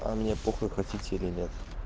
а мне похую хотите или нет